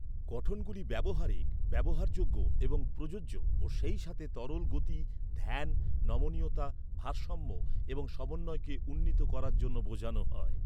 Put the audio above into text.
গঠনগুলি ব্যবহারিক, ব্যবহারযোগ্য এবং প্রযোজ্য ও সেই সাথে তরল গতি, ধ্যান, নমনীয়তা, ভারসাম্য এবং সমন্বয়কে উন্নীত করার জন্য বোঝানো হয়।